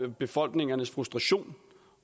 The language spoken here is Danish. befolkningernes frustration